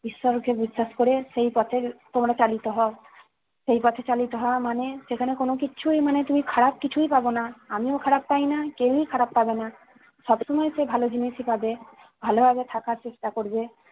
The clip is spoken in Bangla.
ঈশ্বরকে বিশ্বাস করে সেই পথে তোমরা চালিত হও। সেই পথে চলিত হওয়া মানে সেখানে কোন কিছুই মানে তুমি খারাপ কিছুই পাবে না, আমিও খারাপ পাইনা, কেউই খারাপ পাবে না। সব সময় সে ভালো জিনিসই পাবে, ভালোভাবে থাকার চেষ্টা করবে,